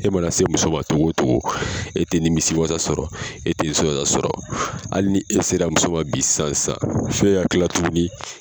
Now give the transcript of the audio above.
E mana se muso man togo o togo e tɛ nimisi wasa sɔrɔ e tɛ sɔrɔ hali ni e sera muso ma bi san san fo e ka kila tuguni